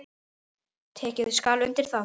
Tekið skal undir það.